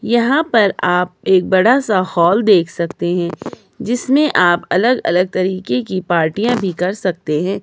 यहां पर आप एक बड़ा सा हॉल देख सकते हैं जिसमें आप अलग अलग तरीके की पार्टियां भी कर सकते हैं।